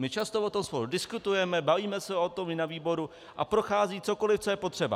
My často o tom spolu diskutujeme, bavíme se o tom i na výboru a prochází cokoliv, co je potřeba.